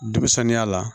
Denmisɛnninya la